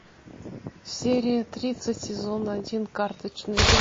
серия тридцать сезон один карточный домик